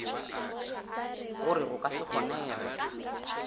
gore go ka se kgonege